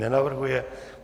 Nenavrhuje.